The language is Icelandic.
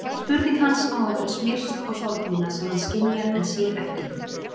Spurning hans á að vera smyrsl á sorg mína sem hann skynjar en sér ekki.